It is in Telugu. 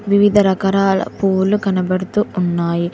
వివిధ రకరాల పూలు కనబడుతూ ఉన్నాయి.